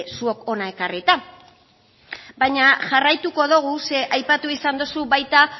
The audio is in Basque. zuok hona ekarrita baina jarraituko dugu zeren aipatu izan dozu baita